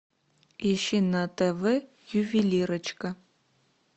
ищи на тв ювелирочка